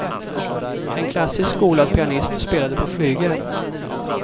En klassiskt skolad pianist spelade på flygel.